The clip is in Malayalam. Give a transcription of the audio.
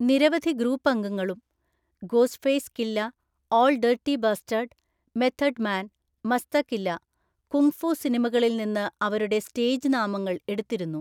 നിരവധി ഗ്രൂപ്പ് അംഗങ്ങളും (Ghostface Killah, Ol'' Dirty Bastard, Method Man, Masta Killah) kung fu സിനിമകളിൽ നിന്ന് അവരുടെ സ്റ്റേജ് നാമങ്ങൾ എടുത്തിരുന്നു.